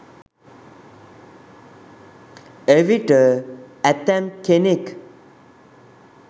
එවිට ඇතැම් කෙනෙක්